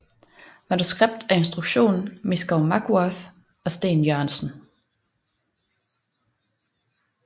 Manuskript og instruktion Miskow Makwarth og Steen Jørgensen